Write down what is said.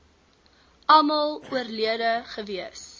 almal oorlede gewees